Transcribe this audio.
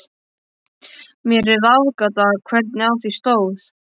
Mér er það ráðgáta, hvernig á því stóð.